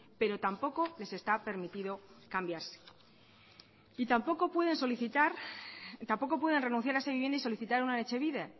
pero tampoco les está permitido cambiarse y tampoco pueden renunciar a esa vivienda y solicitar una de etxebide